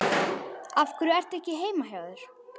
Af hverju ertu ekki heima hjá þér?